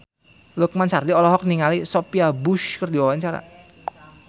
Lukman Sardi olohok ningali Sophia Bush keur diwawancara